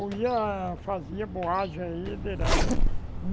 Ou ia, fazia boagem aí direto.